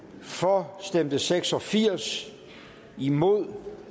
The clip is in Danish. for stemte seks og firs imod